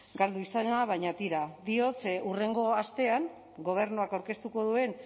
galdu izana baina tira diot ze hurrengo astean gobernuak aurkeztuko duen